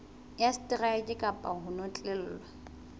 ya seteraeke kapa ho notlellwa